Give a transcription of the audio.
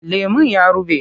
Lemon ya ruɓe.